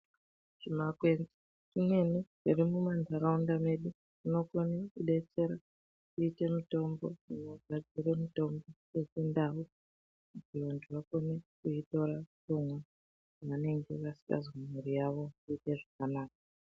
Zvimakwenzi nyana zviri mumatharaunda medu zvinokwanisa kutidetsera kuita mutombo , unogadzira mutombo wechindau , kuti vanthu vanokone kuitora komwa vanenge vasingazwi miri yavo kuita zvakanaka .